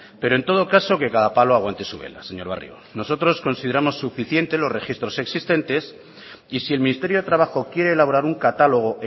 pero en todo caso que cada palo aguante su vela señor barrio nosotros consideramos suficientes los registros existentes y si el ministerio de trabajo quiere elaborar un catálogo